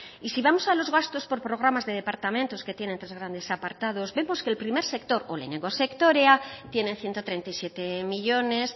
y si vamos a los gastos por programas de departamentos que tiene tres grandes apartados vemos que el primer sector edo lehenengo sektorea tiene ciento treinta y siete millónes